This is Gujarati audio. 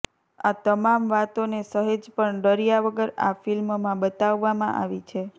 આ તમામ વાતોને સહેજ પણ ડર્યા વગર આ ફિલ્મમાં બતાવવામાં આવી છે